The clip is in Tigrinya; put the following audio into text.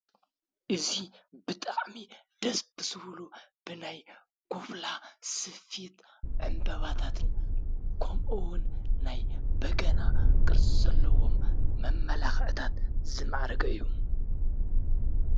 እዚ ብጣዕሚ ደስ ብዝብሉ በላይ ኮፍላ ስፌት ዕምበባታትን ከምኡ ውን ናይ በገና ቅርፂ ዘለዎም መመላኽዕታት ዝማዕረገ እዩ፡፡